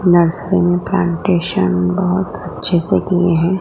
Nursery में plantation बहोत अच्छे से किए हैं।